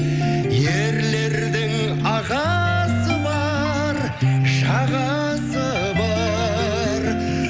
ерлердің ағасы бар жағасы бар